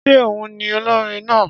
Ṣé òhun ni olórin náà?